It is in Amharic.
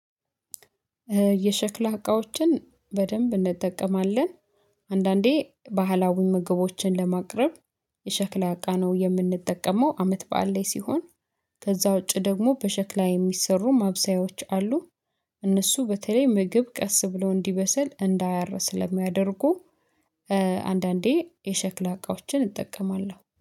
የሸክላ እቃዎችን በደንብ እንጠቀማለን። አንዳንዴ ባህላዊ ምግቦችን ለማቅረብ። የሸክላ እቃ ነው የምንጠቀመው አመት በዓል ላይ ሲሆን። ከዛ ውጪ ደግሞ በሸክላ የሚሰሩ ማብሰያዎች አሉ። እነሱ በተለይ ምግብ ቀስ ብለው እንዲበሰል እንዳያር ስለሚያደርጉ አንዳንዴ የሸክላ እቃዎችን እጠቀማለሁ